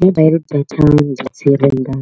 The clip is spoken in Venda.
Data ndi dzi renga